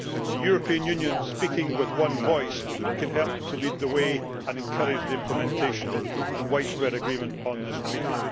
The European Union, speaking with one voice, can help to lead the way and encourage the implementation of, and widespread agreement on, this Treaty.